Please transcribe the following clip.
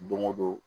Don o don